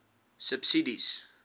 subsidies